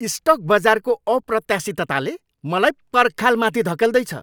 Stock बजारको अप्रत्याशितताले मलाई पर्खाल माथि धकेल्दैछ!